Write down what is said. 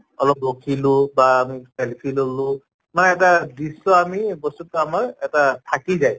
অলপ ৰখিলো বা selfie ললো মানে এটা দৃশ্য় আমি বস্তুটো আমাৰ এটা থাকি যায়